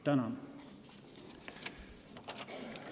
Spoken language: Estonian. Tänan!